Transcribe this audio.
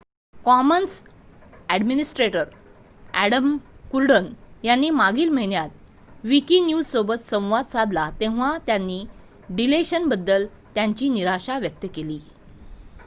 Commons administrator Adam Cuerden यांनी मागील महिन्यात विकिन्यूजसोबत संवाद साधला तेव्हा त्यांनी डीलेशनबद्दल त्यांची निराशा व्यक्त केली